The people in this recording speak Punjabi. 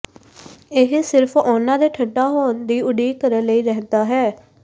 ਇਹ ਸਿਰਫ਼ ਉਨ੍ਹਾਂ ਦੇ ਠੰਢਾ ਹੋਣ ਦੀ ਉਡੀਕ ਕਰਨ ਲਈ ਰਹਿੰਦਾ ਹੈ